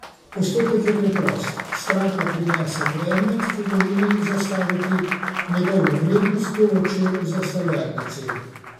Postopek je preprost, stranka prinese predmet, ki ga želi zastaviti, njegovo vrednost določijo v zastavljalnici.